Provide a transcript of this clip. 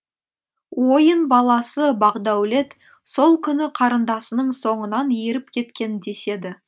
ойын баласы бақдәулет сол күні қарындасының соңынан еріп кеткен деседі